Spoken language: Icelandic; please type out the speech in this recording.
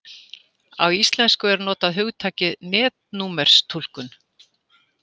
Á íslensku er notað hugtakið netnúmerstúlkun.